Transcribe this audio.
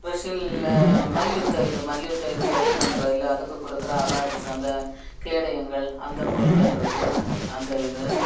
மல்யுக்தம் இது மல்யுக்த இதுல இது பண்றது அதுக்கு குடுக்கற அவார்ட்ஸ் வந்து கேடையங்கள் அந்த பொருள்கள் இருக்கு அந்த இது.